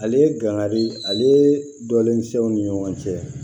Ale ye dankari ale dɔlen tɛ u ni ɲɔgɔn cɛ